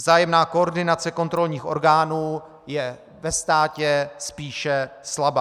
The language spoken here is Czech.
Vzájemná koordinace kontrolních orgánů je ve státě spíše slabá.